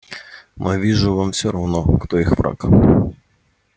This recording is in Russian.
но я вижу вам всё равно кто их враг